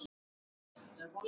Stór skál